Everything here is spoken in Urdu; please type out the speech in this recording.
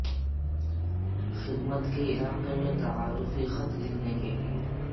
خدمت کے علاقے میں تعارفی خط لکھنے کے لئے